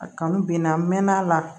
A kanu ben na n mɛɛnn'a la